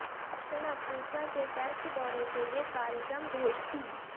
दक्षिण अफ्रीका के टेस्ट दौरे के लिए कार्यक्रम घोषति